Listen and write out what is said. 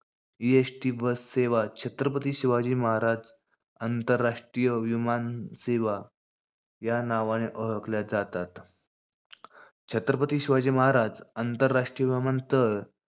EST bus सेवा, छत्रपती शिवाजी महाराज आंतरराष्ट्रीय विमानसेवा, या नावाने ओळखल्या जातात. छत्रपती शिवाजी महाराज आंतरराष्ट्रीय विमानतळ,